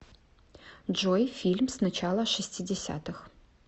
джой фильм с начала шестидесятых